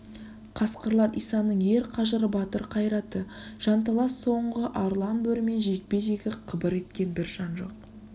қасқырлар исаның ер қажыры батыр қайраты жанталас соңғы арлан бөрімен жекпе-жегі қыбыр еткен бір жан жоқ